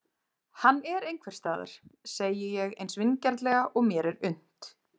Hann er einhvers staðar, segi ég eins vingjarnlega og mér er unnt.